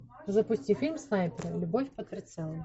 запусти фильм снайперы любовь под прицелом